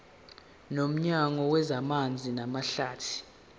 nomnyango wezamanzi namahlathi